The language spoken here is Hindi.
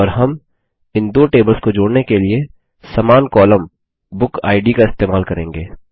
और हम इन दो टेबल्स को जोड़ने के लिए समान कॉलम बुकिड का इस्तेमाल करेंगे